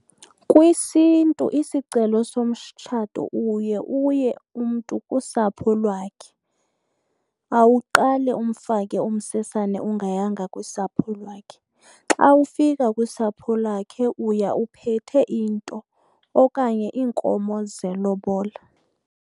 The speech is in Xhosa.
KwisiNtu isicelo somtshato uye uye umntu kusapho lwakhe. Awuqali umfake umsesane ungayanga kusapho lwakhe, xa ufika kusapho lwakhe uya uphethe into okanye iinkomo zelobola.